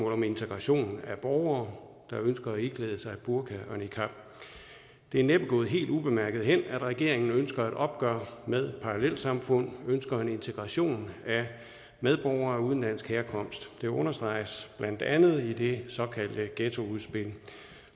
om integration af borgere der ønsker at iklæde sig burka og niqab det er næppe gået helt ubemærket hen at regeringen ønsker et opgør med parallelsamfund ønsker en integration af medborgere af udenlandsk herkomst det understreges blandt andet i det såkaldte ghettoudspil